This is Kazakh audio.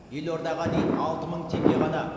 елордаға дейін алты мың теңге ғана